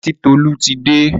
Titolú ti dé.